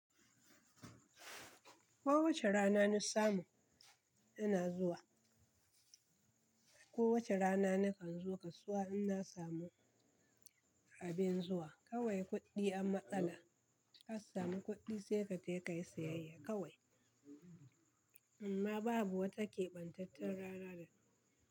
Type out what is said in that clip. Ko wace rana na samu ina zuwa, ko wace rana nakan zo kasuwa inna samu abin zuwa. Kawai kuɗɗi am matsala, ka samu kuɗɗi sai katai ka yi siyayya kawai. Amma babu wata kebantaccen rana da.